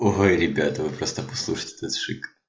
ого ребята вы просто послушайте этот шик